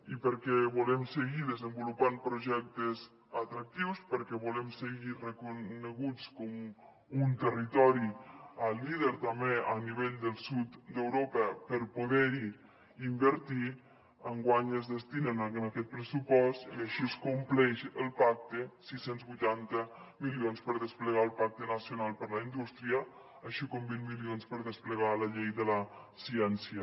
i perquè volem seguir desenvolupant projectes atractius perquè volem seguir reconeguts com un territori líder també a nivell del sud d’europa per poder hi invertir enguany es destinen en aquest pressupost i així es compleix el pacte sis cents i vuitanta milions per desplegar el pacte nacional per a la indústria així com vint milions per a desplegar la llei de la ciència